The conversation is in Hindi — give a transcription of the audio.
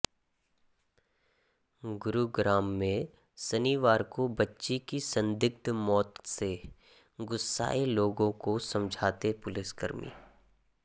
गुरुग्राम में शनिवार को बच्ची की संदिग्ध मौत से गुस्साये लोगों को समझाते पुलिसकर्मी